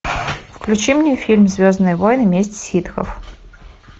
включи мне фильм звездные войны месть ситхов